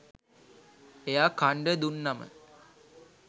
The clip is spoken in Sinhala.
එයා කන්ඩ දුන්නම